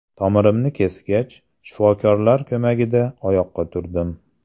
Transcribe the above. Tomirimni kesgach, shifokorlar ko‘magida oyoqqa turdim.